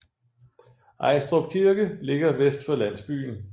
Ajstrup Kirke ligger vest for landsbyen